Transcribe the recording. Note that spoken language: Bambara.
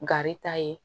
Gari ta ye